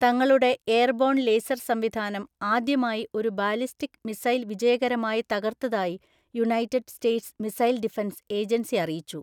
തങ്ങളുടെ airborne laser സംവിധാനം ആദ്യമായി ഒരു ബാലിസ്റ്റിക് മിസൈൽ വിജയകരമായി തകർത്തതായി United States Missile Defense Agency അറിയിച്ചു.